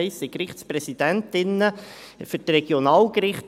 Es geht um Gerichtspräsidentinnen für die Regionalgerichte.